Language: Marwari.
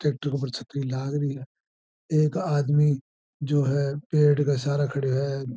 ट्रैक्टर पर छत्री लागरी है एक आदमी जो है पेड़ के सारे खड़ो है।